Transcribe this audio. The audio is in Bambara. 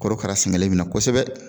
Korokara sɛŋɛlen bɛ na kosɛbɛ